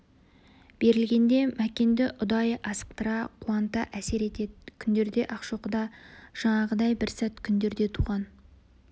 берілгенде мәкенді ұдайы асықтыра қуанта әсер етеді күндерде ақшоқыда жаңағыдай бір сәт күндерінде туған